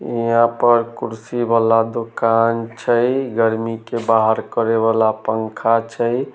यहाँ पर कुर्सी वाला दुकान छै गर्मी के बाहर करे वला पंखा छै।